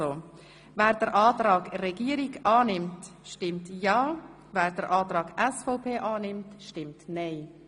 Wer den Antrag Regierungsrat annimmt, stimmt ja, wer den Antrag SVP annimmt, stimmt nein.